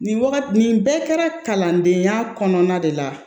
Nin wagati nin bɛɛ kɛra kalandenya kɔnɔna de la